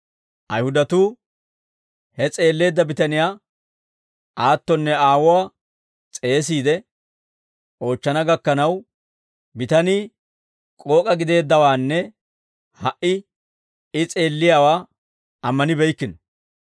Ayihudatuu he s'eelleedda bitaniyaa aattonne aawuwaa s'eesiide oochchana gakkanaw, bitanii k'ook'a gideeddawaanne ha"i I s'eelliyaawaa ammanibeykkino.